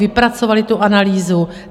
Vypracovali tu analýzu.